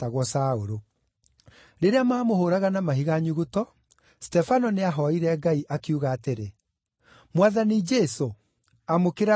Rĩrĩa maamũhũũraga na mahiga nyuguto, Stefano nĩahooire Ngai, akiuga atĩrĩ, “Mwathani Jesũ, amũkĩra roho wakwa.”